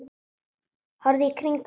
Horfðu í kringum þig!